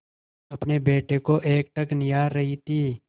अपने बेटे को एकटक निहार रही थी